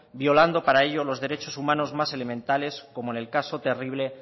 violando para ello los derechos humanos más elementales como en el caso terrible